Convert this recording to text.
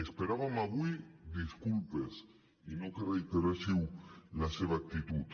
esperàvem avui disculpes i no que reiteréssiu la seva actitud